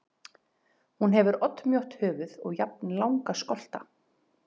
Hún hefur oddmjótt höfuð og jafnlanga skolta.